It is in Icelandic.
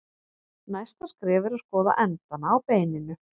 Næsta skref er að skoða endana á beininu.